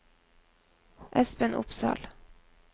Espen Opsahl